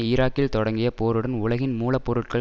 ஈராக்கில் தொடங்கிய போருடன் உலகின் மூல பொருட்கள்